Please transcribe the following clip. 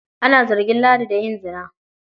Ana zargin Ladi da yin zina.